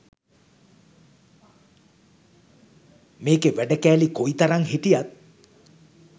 මේකෙ වැඩ කෑලි කොයිතරං හිටියත්